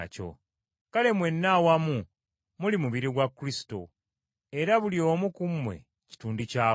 Kale mwenna awamu muli mubiri gwa Kristo, era buli omu ku mmwe kitundu kyagwo.